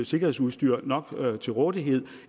sikkerhedsudstyr til rådighed